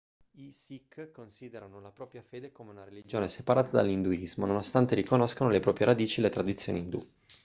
i sikh considerano la propria fede come una religione separata dall'induismo nonostante riconoscano le proprie radici e le tradizioni indù